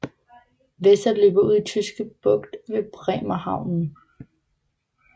Weser løber ud i Tyske Bugt ved Bremerhaven